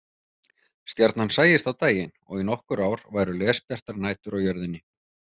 Stjarnan sæist á daginn og í nokkur ár væru lesbjartar nætur á jörðinni.